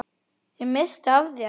Ég missti af þér.